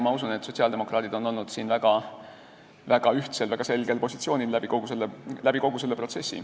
Ma usun, et sotsiaaldemokraadid on olnud kogu selles protsessis väga ühtsel, väga selgel positsioonil.